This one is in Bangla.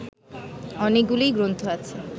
অনেকগুলি গ্রন্থ আছে